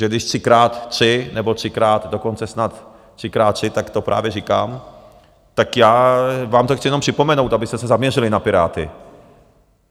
Že když třikrát tři nebo třikrát, dokonce snad třikrát tři, tak to právě říkám, tak já vám to chci jenom připomenout, abyste se zaměřili na Piráty.